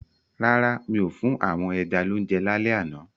Rárá, mi ò fún àwọn ẹja lounje lálẹ́ àná.